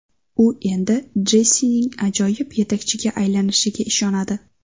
U Endi Jessining ajoyib yetakchiga aylanishiga ishonadi.